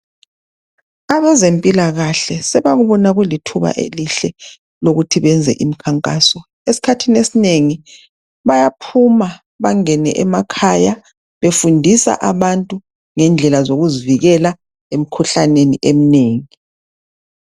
Abezempilakahle sebakubona kulithuba elihle lokuthi benze imikhankaso. Esikhathini esinengi ,bayaphuma bangene emakhaya befundisa abantu ngendlela zokuzivikela emikhuhlaneni eminengi.